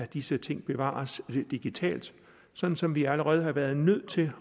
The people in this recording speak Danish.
disse ting bevares digitalt sådan som vi allerede har været nødt til